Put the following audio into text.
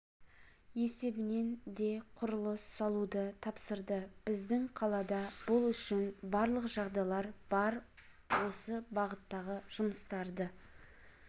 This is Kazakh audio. есебінен де құрылыс салуды тапсырды біздің қалада бұл үшін барлық жағдайлар бар осы бағыттағы жұмыстарды